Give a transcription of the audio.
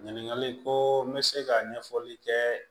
Ɲininkali ko n bɛ se ka ɲɛfɔli kɛ